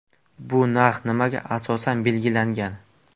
Bu narx nimaga asosan belgilangan?